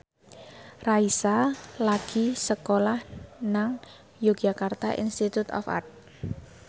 Raisa lagi sekolah nang Yogyakarta Institute of Art